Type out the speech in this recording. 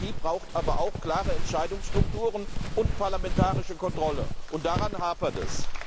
Die Demokratie braucht aber auch klare Entscheidungsstrukturen und parlamentarische Kontrolle und daran hapert es.